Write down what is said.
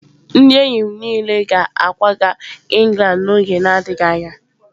Ndị enyi m niile ga-akwaga England n'oge na-adịghị anya.